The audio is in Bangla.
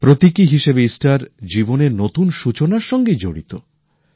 প্রতীকী হিসেবে ইস্টার জীবনের নতুন সূচনার সঙ্গেই জড়িত